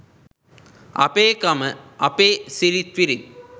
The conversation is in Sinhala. “අපේ කම අපේ සිරිත්විරිත් ”